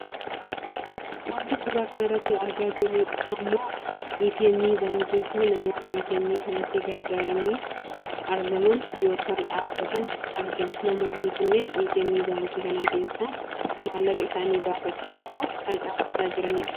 Wanti suuraa kanarratti argaa jirru ammoo ATM baankiifi namoota ATM sanatti garagaranii argaman yookaan dhaabbatan argina namoonni kunneen ATM baankii kana keessaa maallaqa isaanii baafachuuf dhaaf kan dhaabbataa jiran dha.